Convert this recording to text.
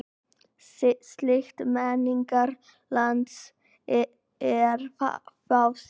Slíkt menningarlandslag er fáséð.